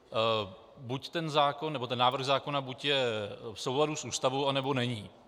Buď ten zákon, nebo ten návrh zákona, buď je v souladu s Ústavou, anebo není.